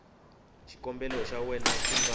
xikombelo xa wena xi nga